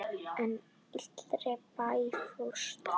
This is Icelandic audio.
En allir í bænum fórust.